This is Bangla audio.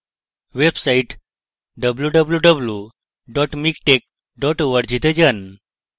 website www miktex org এ যান